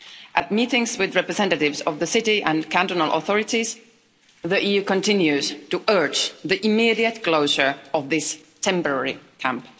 At meetings with representatives of the city and cantonal authorities the EU continues to urge the immediate closure of this temporary camp.